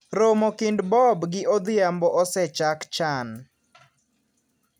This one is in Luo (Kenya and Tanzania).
Romo kind Bob gi Odhiambo osechak chan.